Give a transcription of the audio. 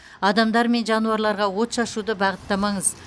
адамдар мен жануарларға от шашуды бағыттамаңыз